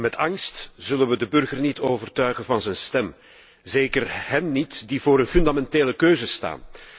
En met angst zullen we de burger niet overtuigen van zijn stem, zeker hen niet die voor een fundamentele keuze staan.